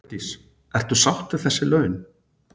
Hjördís: Ertu sátt við þessi laun?